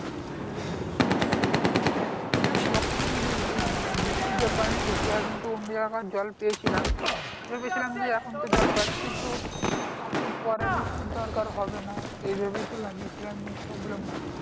হ্যাঁ দেখ তখন বৃষ বৃষ্টির জল পাইনি ঠিক হয় কিন্তু অন্য জায়গাকার জল পেয়েছিলাম ভেবেছিলাম যে এখন তো জল পাচ্ছি তো আর তো পরে বৃষ্টির দরকার হবে না এই ভেবেই তো লাগিয়াছিলাম যে problem হবে না